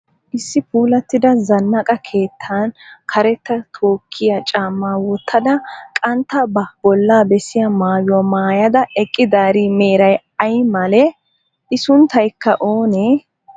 Issi puulattida zannaqa keettan karetta tookkiya caammaa wottada qantta ba bolla bessiyaa mayuwa mayyada eqqidaari meray ayi malee? I sunttayikka oonee?